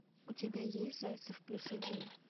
у тебя есть зайцев плюс один